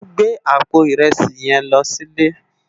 Mó n gbé àpó irèsí this lò silé